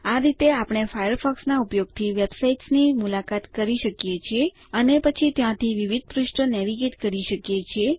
આ રીતે આપણે ફાયરફોક્સના ઉપયોગથી વેબસાઇટ્સ ની મુલાકાત લઇ શકીએ છીએ અને પછી ત્યાંથી વિવિધ પૃષ્ઠ નેવિગેટ કરી શકીએ છીએ